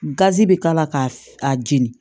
Gazi bɛ k'a la k'a jeni